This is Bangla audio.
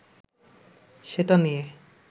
সেটা নিয়ে